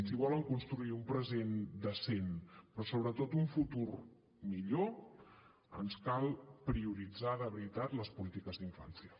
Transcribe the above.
si volen construir un present decent però sobretot un futur millor ens cal prioritzar de veritat les polítiques d’infància